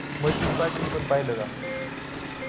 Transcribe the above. मस्जिद पाडलेली पण पाहिलं का?